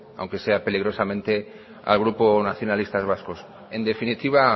aunque sea peligrosamente al grupo nacionalistas vascos en definitiva